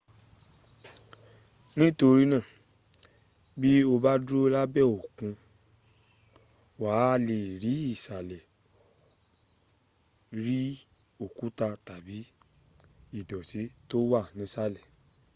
nítorínà bí o bá dúró lẹ́bàá òkun wà á lè rí ìsàlẹ̀ rí òkúta tàbí ìdọ̀tí tó wà nísàlẹ̀